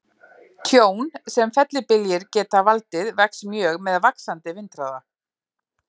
Tjón sem fellibyljir geta valdið vex mjög með vaxandi vindhraða.